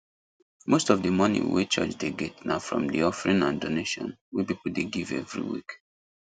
most of the money wey church dey get na from the offering and donation wey people dey give every week